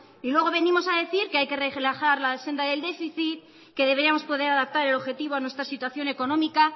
y luego venimos de decir que hay que relajar la senda del déficit que deberíamos poder adaptar el objetivo a nuestra situación económica